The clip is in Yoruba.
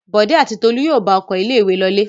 Bọ̀dé àti Tolú yóò bá ọkọ̀ ilé-ìwé lọlé.